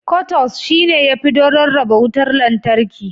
"Cutouts"shi ne yafi don rarraba wutar lantarki.